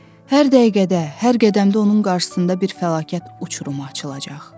Hər dəqiqədə, hər qədəmdə onun qarşısında bir fəlakət uçurumu açılacaq.